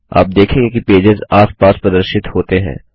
आप देखेंगे कि पेजेस आस पास प्रदर्शित होते हैं